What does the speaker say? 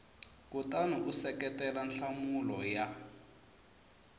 kutani u seketela nhlamulo ya